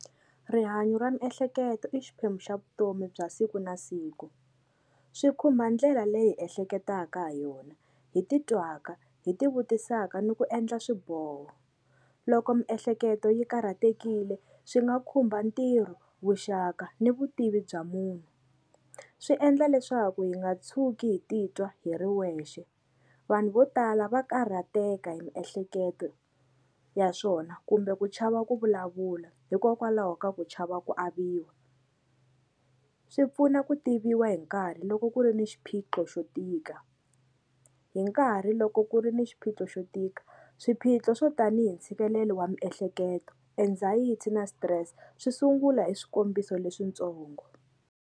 Rihanyo ra miehleketo i xiphemu xa vutomi bya siku na siku swi khumba ndlela leyi hi ehleketaka ha yona hi titwaka hi ti vutisaka ni ku endla swiboho loko miehleketo yi karhatekile swi nga khumba ntirho vuxaka ni vutivi bya munhu swi endla leswaku hi nga tshuki hi titwa hi ri wexe vanhu vo tala va karhateka hi miehleketo ya swona kumbe ku chava ku vulavula hikokwalaho ka ku chava ku aviwa swi pfuna ku tiviwa hi nkarhi loko ku ri ni xiphiqo xo tika hi nkarhi loko ku ri ni xiphiqo xo tika swiphiqo swo tanihi ntshikelelo wa miehleketo anxiety na stress swi sungula hi swikombiso leswitsongo.